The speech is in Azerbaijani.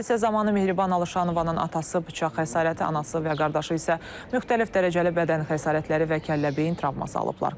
Hadisə zamanı Mehriban Alışanovanın atası bıçaq xəsarəti, anası və qardaşı isə müxtəlif dərəcəli bədən xəsarətləri və kəllə-beyin travması alıblar.